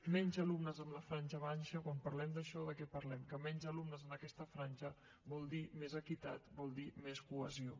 menys alumnes a la franja baixa quan parlem d’això de què parlem que menys alumnes en aquesta franja vol dir més equitat vol dir més cohesió